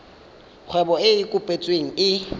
kgwebo e e kopetsweng e